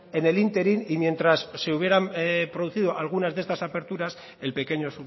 en el ínterin y mientras se hubieran producido algunas de estas aperturas el pequeño